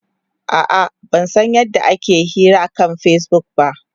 A'a, ban san yadda ake yin hira akan Facebook ba.